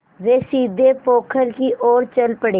वे सीधे पोखर की ओर चल पड़े